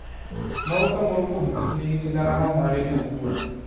Moro ka moro kuom kich nigi sigana ma mare owuon.